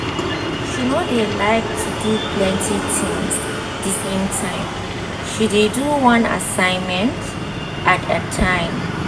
she no dey like to do plenty tinz d same time she dey do one assignment at a time